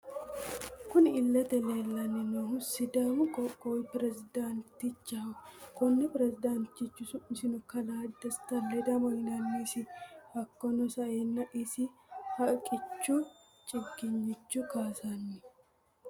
Kunni illete leelani noohu sidàamu qoqqowi perezidanchaho konni perezidanchi su'misino kalaa Desta ledamo yinannisi hakiino sa'eena isi haqqichu chigiynicho kaasani.